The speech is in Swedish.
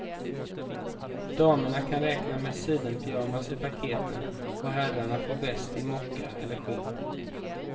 Damerna kan räkna med sidenpyjamas i paketen, herrarna får väst i mocka eller skinn.